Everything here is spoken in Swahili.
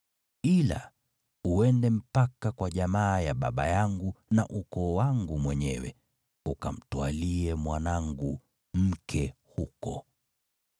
ila uende mpaka kwa jamaa ya baba yangu na ukoo wangu mwenyewe, ukamtwalie mwanangu mke huko.’